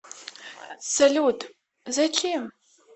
салют зачем